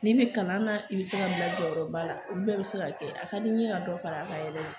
N'i be kalan na i be se ka bila jɔyɔrɔba la olu bɛɛ be se ka kɛ a ka di n ɲe ka dɔ fara a kan yɛrɛ de